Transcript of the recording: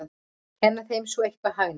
Kenna þeim svo eitthvað hagnýtt!